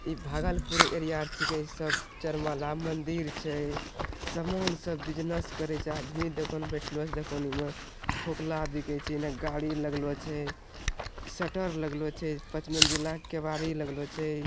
इ भागलपुर एरिया के छे सब चार महला मंदिर छे। सामान सब बिज़नेस करई छे आदमी देखो ना बेठले छे दुकानि मा। लागलो छे इन गाड़ी लागलो छे। शटर लागलो छे। पाँच मंजिला केवाड़ी लागलो छे।